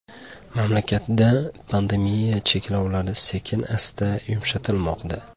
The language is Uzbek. Mamlakatda pandemiya cheklovlari sekin-asta yumshatilmoqda.